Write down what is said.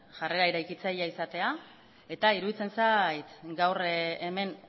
jarrera eraikitzailea izatea eta iruditzen zait gaur hemen